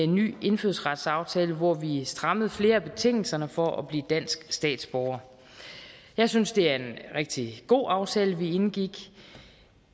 ny indfødsretsaftale hvor vi vi strammede flere af betingelserne for at blive dansk statsborger jeg synes det er en rigtig god aftale vi indgik